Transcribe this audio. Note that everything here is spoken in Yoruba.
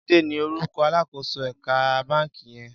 Jide ni órúkò àlákósó èkà bànkí yèn